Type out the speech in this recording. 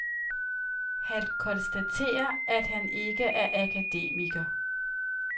Han konstaterer, at han ikke er akademiker.